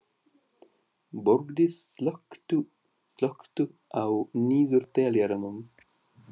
Borgdís, slökktu á niðurteljaranum.